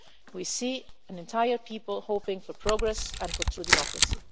We see an entire people hoping for progress and for true democracy.